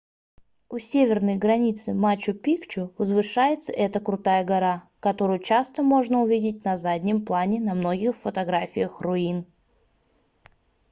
у северной границы мачу-пикчу возвышается эта крутая гора которую часто можно увидеть на заднем плане на многих фотографиях руин